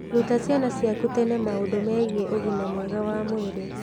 Ruta ciana ciaku tene maũndũ megiĩ ũgima mwega wa mwĩrĩ.